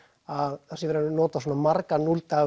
að það sé verið að nota svona marga